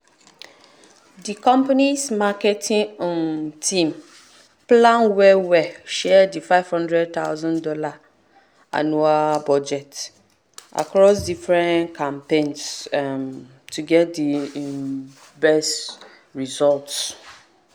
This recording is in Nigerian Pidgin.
the company's marketing um team plan well well share the fifty thousand dollars0 annual budget across different campaigns um to get the um best results.